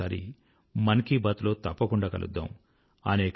మరోసారి మన్ కీ బాత్ లో తప్పకుండా కలుద్దాం